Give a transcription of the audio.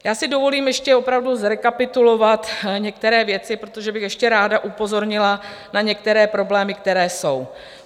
Já si dovolím ještě opravdu zrekapitulovat některé věci, protože bych ještě ráda upozornila na některé problémy, které jsou.